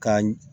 Ka